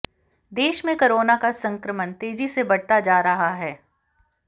देश में कोरोना का संक्रमण तेजी से बढ़ता जा रहा है